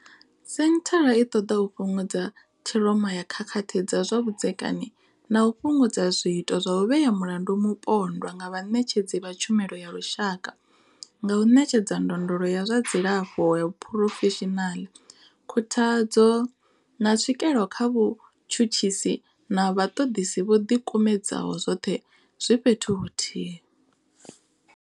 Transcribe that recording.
Senthara i ṱoḓa u fhungudza ṱhiroma ya khakhathi dza zwa vhudzekani na u fhungudza zwiito zwa u vhea mulandu mupondwa nga vhaṋetshedzi vha tshumelo ya lushaka nga u ṋetshedza ndondolo ya zwa dzilafho ya phurofeshinala, khuthadzo, na tswikelo kha vhatshutshisi na vhaṱoḓisi vho ḓikumedzaho, zwoṱhe zwi fhethu huthihi.